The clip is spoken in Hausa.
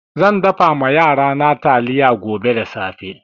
Zan dafa ma yarana taliya gobe da safe.